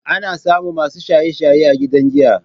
Ana samun masu shaye-shaye a gidan giya.